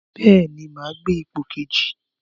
Bẹ́ẹ̀ni, máa gbé ipò kejì.